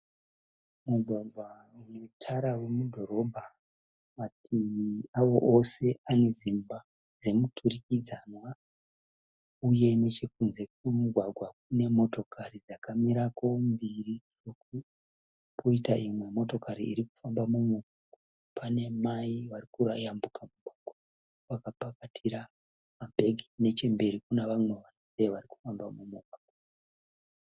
Mugwagwa unetara wemudhorobha. Mativi awo ose ane dzimba dzemuturikidzanwa uye nechekunze kwemugwagwa kune motokari dzakamirako mbiri poita imwe motokari dzirikufamba. Pane mai varikuyambuka mugwagwa vakapakatira mabheke nechekumberi kune vamwe varume varikufamba mumugwagwa.